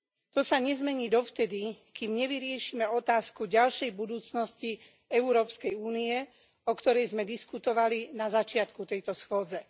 To sa nezmení dovtedy, kým nevyriešime otázku ďalšej budúcnosti EÚ, o ktorej sme diskutovali na začiatku tejto schôdze.